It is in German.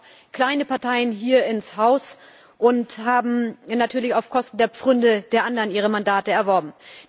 So kamen auch kleine Parteien hier ins Haus und haben natürlich auf Kosten der Pfründe der anderen ihre Mandate erworben.